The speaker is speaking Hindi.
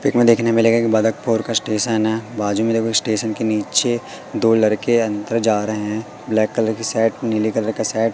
पिक में देखने मिलेंगे बदकपुर का स्टेशन है बाजू में देखो स्टेशन के नीचे दो लड़के अंदर जा रहे हैं ब्लैक कलर की सट नीले कलर की सट --